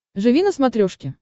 живи на смотрешке